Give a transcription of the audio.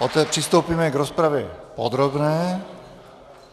Poté přistoupíme k rozpravě podrobné.